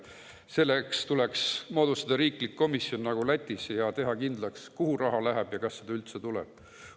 Selleks tuleks moodustada riiklik komisjon nagu Lätis ja teha kindlaks, kuhu raha läheb ja kas seda üldse tuleb.